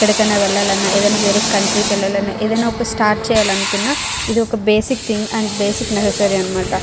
ఎక్కడికని వెళ్లాలన్నా ఏదన్నా కంట్రీ కి వేళ్ళ లన ఏదన్నా స్టార్ట్ చేయాలని ఇది ఒక బేసిక్ థింగ్ అనమాట .